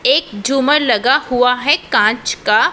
एक झुमर लगा हुआ है कांच का।